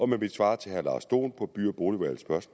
mit svar til herre lars dohn på by